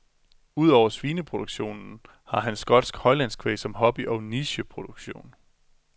Ud over svineproduktionen har han skotsk højlandskvæg som hobby og nicheproduktion.